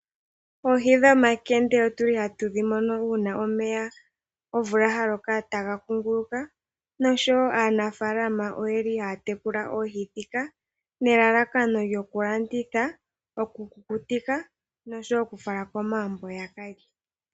Oohi dhomakende otuli hatu dhimono uuna omvula yaloko omeya taga kunguluka nosho woo aanafalama oye li haya tekula oohi dhika nelalakano lyokulanditha, okukukutitha noshowoo okufala komagumbo yaka lye.